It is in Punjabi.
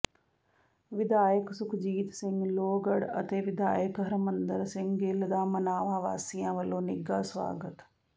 ਵਿਧਾਇਕ ਸੁਖਜੀਤ ਸਿੰਘ ਲੋਹਗੜ੍ਹ ਅਤੇ ਵਿਧਾਇਕ ਹਰਮੰਦਰ ਸਿੰਘ ਗਿੱਲ ਦਾ ਮਨਾਵਾ ਵਾਸੀਆਂ ਵੱਲੋਂ ਨਿੱਘਾ ਸਵਾਗਤ